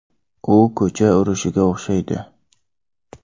U ko‘cha urushiga o‘xshaydi.